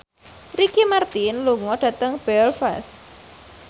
Ricky Martin lunga dhateng Belfast